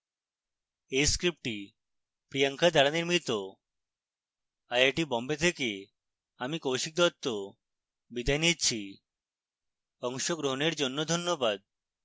এই script priyanka দ্বারা নির্মিত